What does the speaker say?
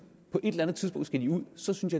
på et eller andet tidspunkt skal de ud og så synes